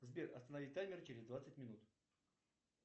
сбер останови таймер через двадцать минут